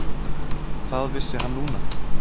Það vissi hann núna.